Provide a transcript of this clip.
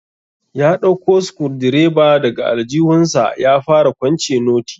Ya dauko sukurudireba daga aljihunsa ya fara kwance noti.